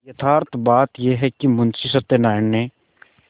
यथार्थ बात यह है कि मुंशी सत्यनाराण ने